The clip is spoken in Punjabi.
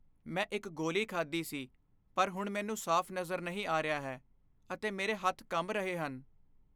ਮੈਂ ਇੱਕ ਗੋਲੀ ਖਾਧੀ ਸੀ ਪਰ ਹੁਣ ਮੈਨੂੰ ਸਾਫ਼ ਨਜ਼ਰ ਨਹੀਂ ਆ ਰਿਹਾ ਹੈ ਅਤੇ ਮੇਰੇ ਹੱਥ ਕੰਬ ਰਹੇ ਹਨ।